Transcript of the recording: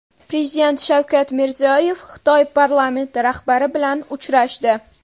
Prezident Shavkat Mirziyoyev Xitoy parlamenti rahbari bilan uchrashdi.